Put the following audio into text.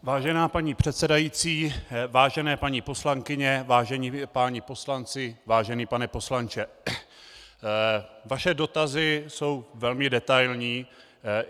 Vážená paní předsedající, vážené paní poslankyně, vážení páni poslanci, vážený pane poslanče, vaše dotazy jsou velmi detailní.